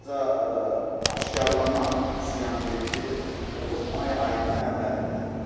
Ancaq aşkarlanan ziyanverici olub may ayının əvvəlində.